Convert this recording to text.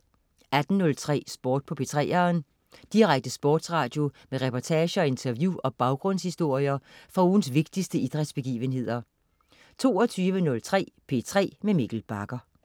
18.03 Sport på 3'eren. Direkte sportsradio med reportager, interview og baggrundshistorier fra ugens vigtigste idrætsbegivenheder 22.03 P3 med Mikkel Bagger